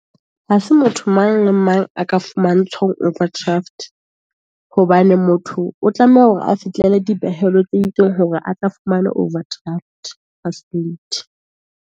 Ha se motho mang mang a ka overdraft, hobane motho o tlameha hore a fihlele dipehelo tse itseng, hore a tla fumana overdraft .